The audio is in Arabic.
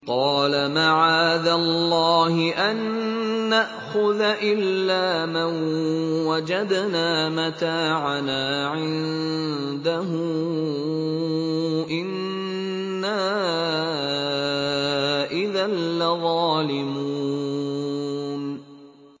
قَالَ مَعَاذَ اللَّهِ أَن نَّأْخُذَ إِلَّا مَن وَجَدْنَا مَتَاعَنَا عِندَهُ إِنَّا إِذًا لَّظَالِمُونَ